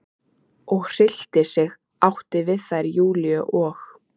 og hryllti sig, átti við þær Júlíu og